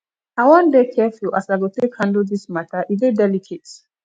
i wan dey careful as i go take handle dis mata e dey delicate